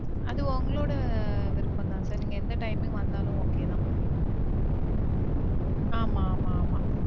அது உங்களோட விருப்பம் தான் sir. நீங்க எந்த timing ல வந்தாலும் okay தான். ஆமாம் ஆமாம். ஆமாம்.